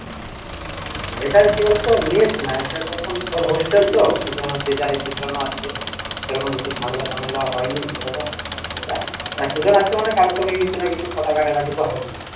এটা একেবারে তো মেস না এটা যখন তোর hostel তো এজন্য যে যার আছে সেরকম কিছু ঝামেলা ফামেলা ও হয়নি সেরকম এতজন আছে মানে কারো সঙ্গে কিছু না কিছু কথা কাটাকাটি তো হবেই